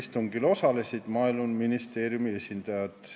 Istungil osalesid Maaeluministeeriumi esindajad.